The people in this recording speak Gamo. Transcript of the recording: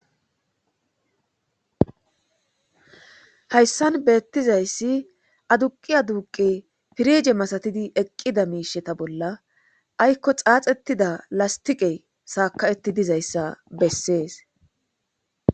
hayssan beettizayssi aduqi aduqi pirije masatidi eqqida miisheta bolla aykko xaaxettida lastiqe saakawetti dizayssa bessees